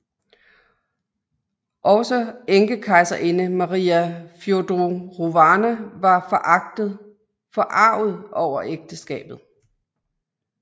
Også enkekejserinde Maria Fjodorovna var forarget over ægteskabet